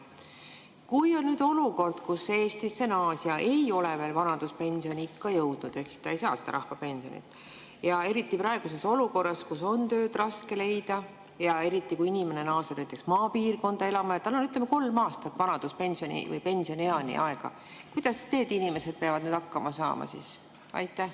Kui Eestisse naasja ei ole veel vanaduspensioniikka jõudnud ehk ta ei saa seda rahvapensioni, siis praeguses olukorras, kus tööd on raske leida, eriti, kui ta naaseb näiteks maapiirkonda elama ja tal on, ütleme, kolm aastat pensionieani aega, kuidas ta peaks hakkama saama?